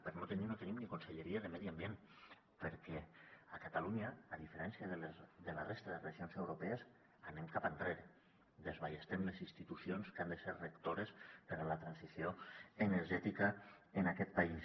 per no tenir no tenim ni conselleria de medi ambient perquè a catalunya a diferència de la resta de regions europees anem cap enrere desballestem les institucions que han de ser rectores per a la transició energètica en aquest país